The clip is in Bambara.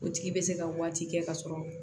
O tigi bɛ se ka waati kɛ ka sɔrɔ